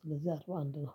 ስለዚህ አርባ አንድ ነው